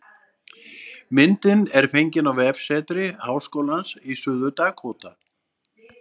Myndin er fengin á vefsetri Háskólans í Suður-Dakóta